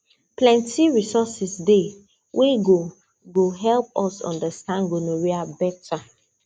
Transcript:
plenty resources dey wey go go help us understand gonorrhea better